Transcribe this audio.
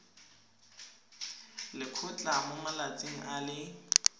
lekgotlha mo malatsing a le